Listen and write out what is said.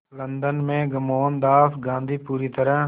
London में मोहनदास गांधी पूरी तरह